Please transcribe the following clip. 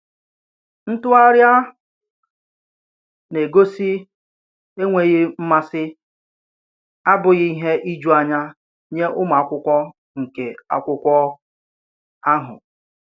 Ntùgharị a na-egosi enweghị mmasị abụghị ìhè ijuanya nyé ụmụ akwụkwọ nkè akwúkwo áhù.